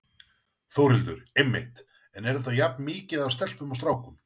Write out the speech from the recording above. Þórhildur: Einmitt, en er þetta jafn mikið af stelpum og strákum?